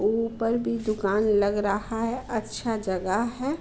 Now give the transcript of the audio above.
ऊपर भी दुकान लग रहा है अच्छा जगह है।